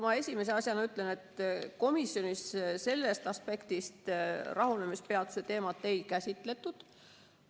Ma esimese asjana ütlen, et komisjonis sellest aspektist rahunemispeatuse teemat ei käsitletud.